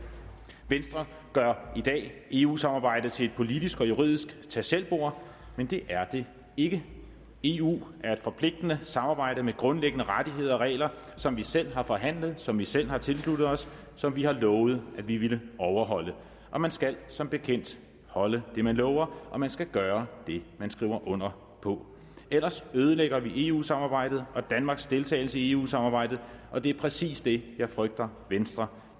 venstre gør i dag eu samarbejdet til et politisk og juridisk tag selv bord men det er det ikke eu er et forpligtende samarbejde med grundlæggende rettigheder og regler som vi selv har forhandlet som vi selv har tilsluttet os som vi har lovet at vi ville overholde og man skal som bekendt holde det man lover og man skal gøre det man skriver under på ellers ødelægger vi eu samarbejdet og danmarks deltagelse i eu samarbejdet og det er præcis det jeg frygter at venstre